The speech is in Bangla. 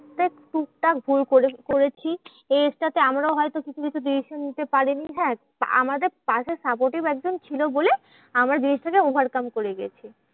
বেশ টুকটাক ভুল করে করেছি। এই age টা তে আমরাও হয়ত কিছু কিছু decision নিতে পারিনি হ্যাঁ আমাদের পাশে supportive একজন ছিল বলে আমারা জিনিসটাকে over come করে গেছি।